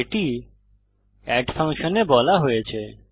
এটি এড ফাংশনে বলা হয়েছে